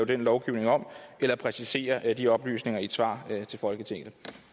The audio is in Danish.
den lovgivning om eller præcisere de oplysninger i et svar til folketinget